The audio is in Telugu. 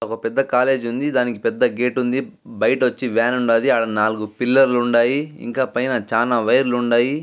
ఒక పెద్ద కాలేజి ఉంది. దానికి పెద్ద గేటు ఉంది .బైట వచ్చి వాన్ వుండాది అడా నాలుగు పిల్లర్ లు ఉండాయి .ఇంకా పైన చాలా వైర్ లు ఉండాయి.